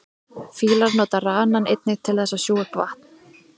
fílar nota ranann einnig til þess að sjúga upp vatn